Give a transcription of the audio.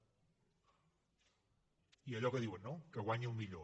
i allò que diuen no que guanyi el millor